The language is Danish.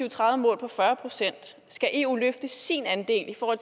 og tredive mål på fyrre procent skal eu løfte sin andel for at